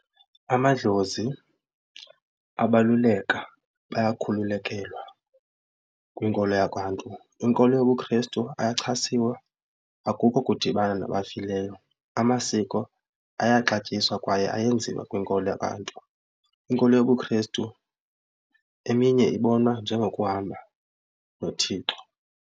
Amadlozi abaluleka bayakhululekelwa kwinkolo yakwaNtu. Inkolo yobuKhrestu ayachasiwa akukho kudibana nabafileyo. Amasiko ayaxatyiswa kwaye ayenziwa kwinkolo yabantu. Inkolo yobuKhrestu eminye ibonwa njengokuhamba noThixo.